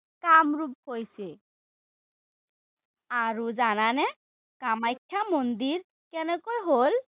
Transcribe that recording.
কামৰূপ হৈছে। আৰু জানানে কামাখ্যা মন্দিৰ কেনেকৈ হ'ল?